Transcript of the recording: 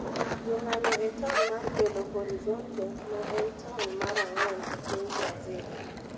Jo ng'anyo e taon mar Belo Horizonte, ma en taon mar ang'wen e piny Brazil.